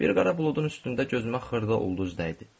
Bir qara buludun üstündə gözümə xırda ulduz dəydi.